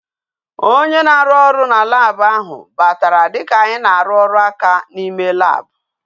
Onye na-arụ na Lab ahụ batara dika anyi na-arụ ọrụ aka n'ime lab